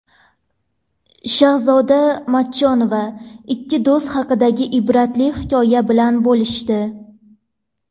Shahzoda Matchonova ikki do‘st haqidagi ibratli hikoya bilan bo‘lishdi.